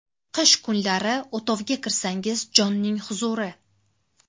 Qish kunlari o‘tovga kirsangiz jonning huzuri.